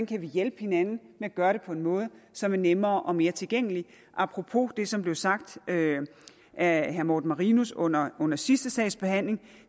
kan hjælpe hinanden med at gøre det på måder som er nemmere og mere tilgængelige apropos det som blev sagt af herre morten marinus under under sidste sags behandling